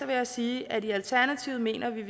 vil jeg sige at i alternativet mener vi at